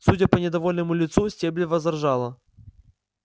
судя по недовольному лицу стебль возражала